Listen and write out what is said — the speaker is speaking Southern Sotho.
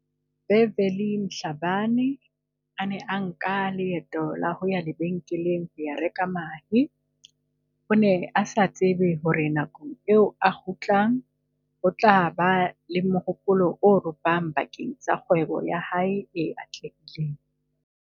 Beverly Mhla bane a ne a nka leeto ho ya lebe nkeleng ho ya reka mahe, o ne a sa tsebe hore nakong eo a kgutlang ho tla ba le mohopolo o ropohang ba keng sa kgwebo ya hae e atlehileng.